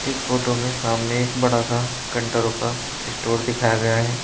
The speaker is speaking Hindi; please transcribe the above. इस फोटो में सामने एक बड़ा सा कंट्रो का स्टोर दिखाया गया है।